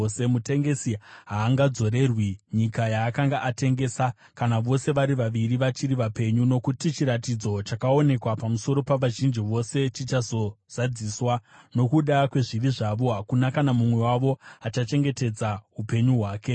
Mutengesi haangadzorerwi nyika yaakanga atengesa kana vose vari vaviri vachiri vapenyu, nokuti chiratidzo chakaonekwa pamusoro pavazhinji vose chichazozadziswa. Nokuda kwezvivi zvavo, hakuna kana mumwe wavo achachengetedza upenyu hwake.